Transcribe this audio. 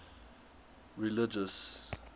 religious